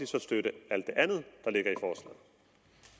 så støtte alt det andet